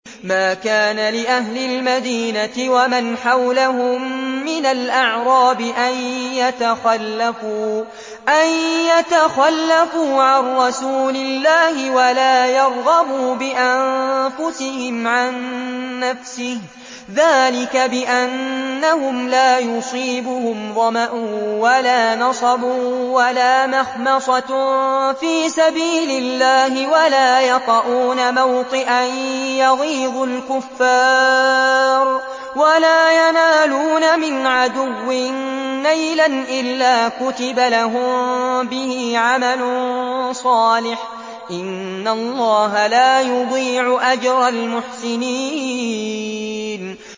مَا كَانَ لِأَهْلِ الْمَدِينَةِ وَمَنْ حَوْلَهُم مِّنَ الْأَعْرَابِ أَن يَتَخَلَّفُوا عَن رَّسُولِ اللَّهِ وَلَا يَرْغَبُوا بِأَنفُسِهِمْ عَن نَّفْسِهِ ۚ ذَٰلِكَ بِأَنَّهُمْ لَا يُصِيبُهُمْ ظَمَأٌ وَلَا نَصَبٌ وَلَا مَخْمَصَةٌ فِي سَبِيلِ اللَّهِ وَلَا يَطَئُونَ مَوْطِئًا يَغِيظُ الْكُفَّارَ وَلَا يَنَالُونَ مِنْ عَدُوٍّ نَّيْلًا إِلَّا كُتِبَ لَهُم بِهِ عَمَلٌ صَالِحٌ ۚ إِنَّ اللَّهَ لَا يُضِيعُ أَجْرَ الْمُحْسِنِينَ